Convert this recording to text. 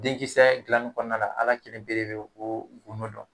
Denkisɛ gilanni kɔnɔna la, ala kelen pe de be o gundo dɔn.